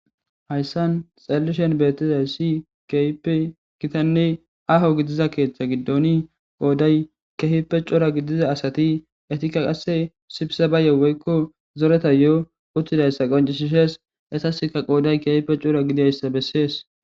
hayssan xallishen beetizaysi kehipe hitanne aaho gidiza keeththa giddoni qooday keehipe cora gidiza asati etikka qase sibsebayo woykko zoreta yo7o uttidayssa qoncishishees qasaska qooday kehipe cora gidiayssa bessees.